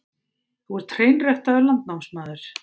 Þú ert hreinræktaður landnámsmaður.